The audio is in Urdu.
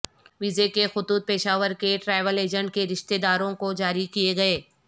ویزے کے خطوط پشاور کے ٹریول ایجنٹ کے رشتے داروں کو جاری کیئے گئے